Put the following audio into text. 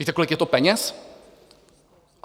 Víte, kolik je to peněz?